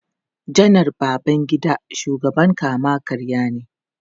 Janar Babangida shugaban kama-karya ne.